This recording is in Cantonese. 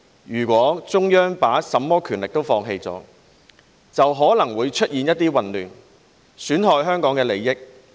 如果中央把甚麼權力都放棄了，就可能會出現一些混亂，損害香港的利益。